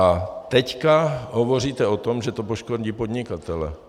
A teď hovoříte o tom, že to poškodí podnikatele.